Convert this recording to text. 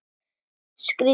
Strýk lærin.